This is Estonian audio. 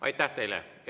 Aitäh teile!